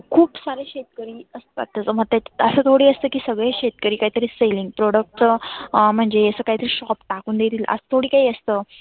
खुप सारे शेतकरी असतात त्याच्यामध्ये अस थोड असत की सगळे शेतकरी काही तरी selling product च म्हणजे अस काही तरी shop टाकुन देईल असं थोड काही असतं.